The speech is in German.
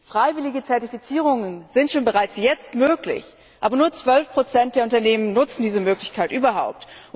Freiwillige Zertifizierungen sind schon jetzt möglich, aber nur 12 der Unternehmen nutzen diese Möglichkeit überhaupt.